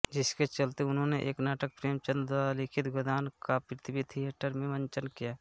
जिसके चलते उन्होंने एक नाटक प्रेमचंद द्वारा लिखित गोदान का पृथ्वी थिएटर में मंचन किया